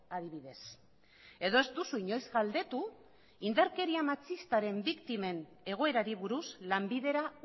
adibidez edo ez duzu inoiz galdetu indarkeria matxistaren biktimen egoerari buruz lanbidera